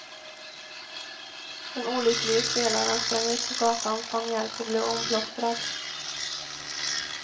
Den olycklige spelaren sprang ut på gatan, fann hjälp och blev omplåstrad.